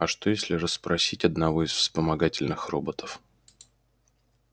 а что если расспросить одного из вспомогательных роботов